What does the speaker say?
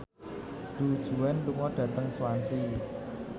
Du Juan lunga dhateng Swansea